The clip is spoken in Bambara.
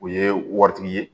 O ye waritigi ye